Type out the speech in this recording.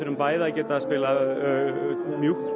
bæði að geta spilað mjúkt og